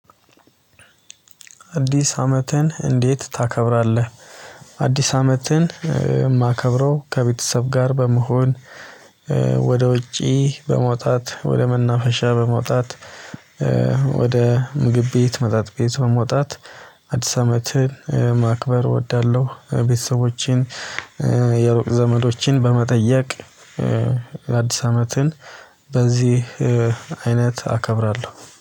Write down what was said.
አዲስ አመትን እንዴት ታከብራለህ? አዲስ አመትን የማከብረው ከቤተሰብ ጋር በመሆን ወደ ውጪ በመውጣት ወደ መናፈሻ በመውጣት ወደ ምግብ ቤት መጠጥ ቤት በመውጣት አዲስ አመትን ማክበር እወዳለሁ። ቤተሰቦቼን የሩቅ ዘመዶችን በመጠየቅ አዲስ አመትን በዚህ አይነት አከብራለሁ